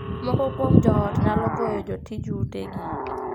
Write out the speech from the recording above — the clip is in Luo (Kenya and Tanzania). Moko kuom joot nyalo goyo jotij utegi.